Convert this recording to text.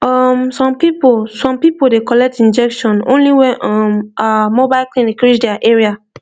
um some people some people dey collect injection only when um ah mobile clinic reach their area